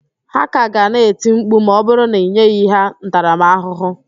Ha ka ga na-eti mkpu ma ọ bụrụ na ị nyeghị ha ntaramaahụhụ